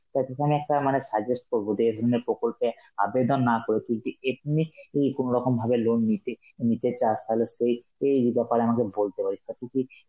তা তোকে আমি একটা মানে suggest করব যে এই ধরনের প্রকল্পে আবেদন না করে, তুই যদি ethnic ই কোনরকম ভাবে loan নীতি~ নিতে চাস, তাহলে সেই~ এই আমাকে বলতে পারিস, তা তুই কি